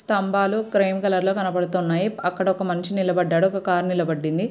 స్తంబాలు cream colour లో కనబడుతున్నాయి. అక్కడ ఒక మనిషి నిలబడ్డారు. ఒక కార్ నిలబడింది.